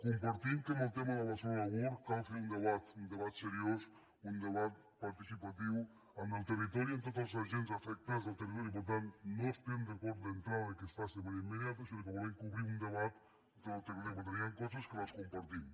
compartim que en el tema de barcelona world cal fer un debat un debat seriós un debat participatiu en el territori amb tots els agents afectats del territori i per tant no estem d’acord d’entrada que es faci de manera immediata sinó que volem obrir un debat amb tot el territori però també hi han coses que les compartim